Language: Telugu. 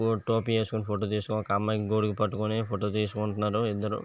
ఒక టోపీ వేసుకొని ఒక అమ్మాయే గొడుగు పట్టుకొని ఫోటో తీసుకుంటున్నారు ఇద్దరు.